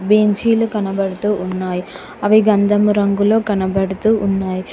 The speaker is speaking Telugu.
బెంచీలు కనబడుతూ ఉన్నాయి. అవి గంధము రంగులో కనబడుతూ ఉన్నాయి.